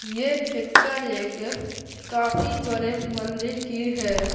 ये पिक्चर एक काफी बड़े मंदिर की है।